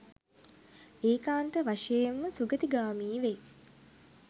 ඒකාන්ත වශයෙන්ම සුගතිගාමී වෙයි.